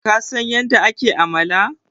kasan yadda ake amala?